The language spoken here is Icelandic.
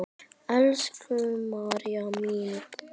Elsku María mín.